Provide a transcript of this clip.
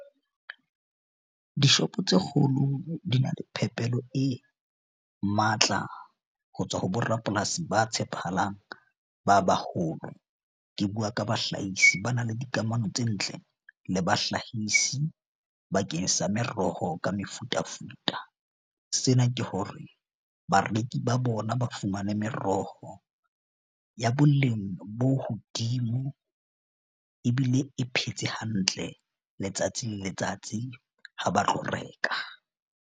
Dishopo tse kgolo di na le phepelo e matla ho tswa ho borapolasi ba tshepahalang ba baholo. Ke bua ka bahlahisi ba na le dikamano tse ntle le bahlahisi bakeng sa meroho ka mefutafuta. Sena ke hore bareki ba bona ba fumane meroho ya boleng bo hodimo ebile e phetse hantle. Letsatsing le letsatsi ha ba tlo reka.